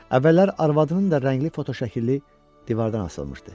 Əvvəllər arvadının da rəngli fotoşəkli divardan asılmışdı.